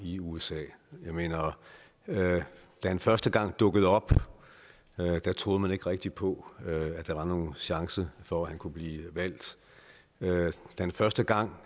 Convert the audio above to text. i usa da han første gang dukkede op troede man ikke rigtig på at der var nogen chance for at han kunne blive valgt da han første gang